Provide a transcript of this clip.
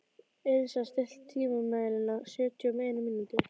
Elísa, stilltu tímamælinn á sjötíu og eina mínútur.